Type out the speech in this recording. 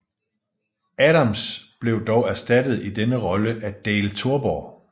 Adams blev dog erstattet i denne rolle af Dale Torborg